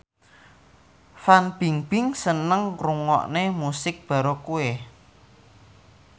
Fan Bingbing seneng ngrungokne musik baroque